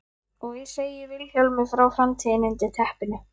Og ég segi Vilhjálmi frá framtíðinni undir teppinu.